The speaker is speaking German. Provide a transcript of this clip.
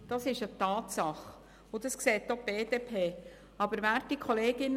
Das ist eine Tatsache, und das sieht auch die BDP.